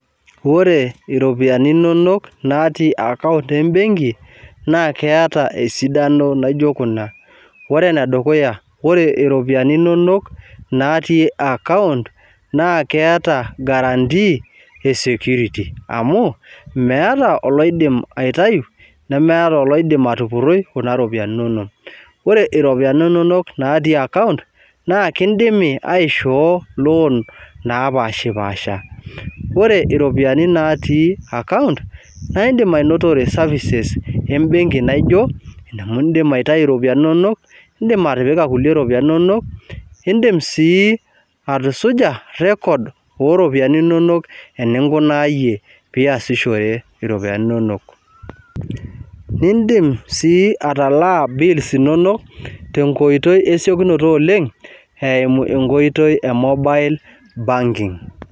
Ore iropiyiani inonok naatii account embenki naa keeta esidano naijo kuna. Ore enedukuya, ore iropiyiani inonok natii account naa kiata guarantee e security amu meeta oloidim aitayu, meeta oloidim atupurroi kuna ropiyiani inonok. Ore iropiyiani inonok natii account naa kindimi aishoo loan naapaashipaasha. Ore iropiyiani natii account naindim ainotore services embenki naijo, amu indim aitayu iropiyiani inonok, iindim atipika kulie ropiyiani inonok, indim sii atusuja record oo ropiyiani inonok eninkunaayie piyasishore iropiyiani inonok. Niindim sii atalaa bills inonok tenkoitoi esiokinoto oleng eimu enkoitoi e mobile banking